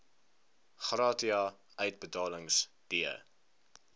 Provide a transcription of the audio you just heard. gratia uitbetalings d